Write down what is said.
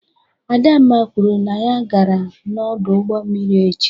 Adamma kwuru na ya gara n'ọdụ ụgbọ mmiri echi.